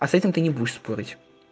а с этим ты не будешь спорить